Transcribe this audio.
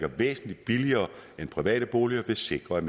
væsentlig billigere end private boliger vil sikre at